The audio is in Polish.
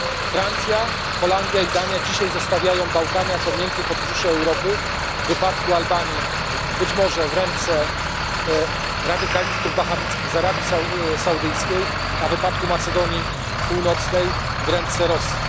Francja, Holandia i Dania dzisiaj zostawiają Bałkany jako miękkie podbrzusze Europy w wypadku Albanii być może w rękach radykalistów wahabickich z Arabii Saudyjskiej, a w wypadku Macedonii Północnej w rękach Rosji.